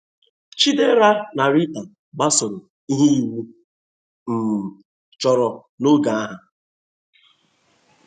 Chidera na Rita gbasoro ihe iwu um chọrọ n’oge ha.